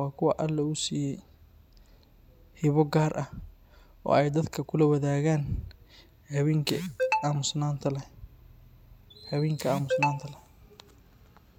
waa kuwa alle uu siiye hiba gaar ah.